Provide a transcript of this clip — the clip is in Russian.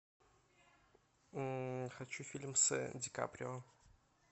хочу фильм с ди каприо